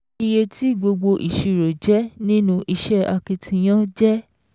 Iye tí gbogbo ìṣirò jẹ́ nínú iṣẹ́ akitiyan jẹ́